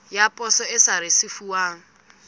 ya poso e sa risefuwang